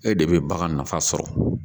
E de bɛ bagan nafa sɔrɔ